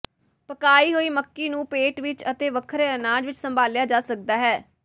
ਪਕਾਏ ਹੋਈ ਮੱਕੀ ਨੂੰ ਪੇਟ ਵਿਚ ਅਤੇ ਵੱਖਰੇ ਅਨਾਜ ਵਿਚ ਸੰਭਾਲਿਆ ਜਾ ਸਕਦਾ ਹੈ